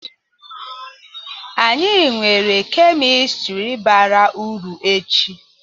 Anyị nwere kemistri bara uru echi.